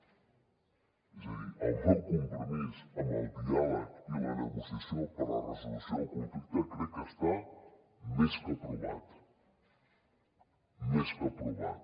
és a dir el meu compromís amb el diàleg i la negociació per a la resolució del conflicte crec que està més que provat més que provat